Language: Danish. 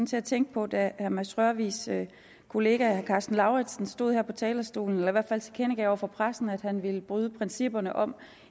til at tænke på da herre mads rørvigs kollega herre karsten lauritzen stod her på talerstolen og hvert fald tilkendegav over for pressen at han ville bryde principperne om